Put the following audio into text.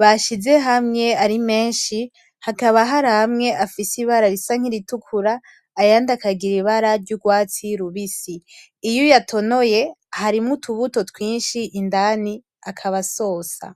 bashize hamwe ari menshi hakaba haramwe afise ibara risa nk'iritukura ayandi akagira ibara ry'urwatsi rubisi iyo uyatonoye harimwo utubuto twinshi indani akaba asosa .